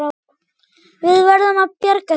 Við verðum að bjarga því.